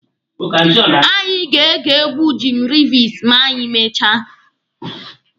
Anyị ga-ege egwu Jim Reeves ma anyị mechaa.